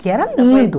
Que era lindo.